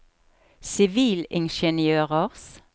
sivilingeniørers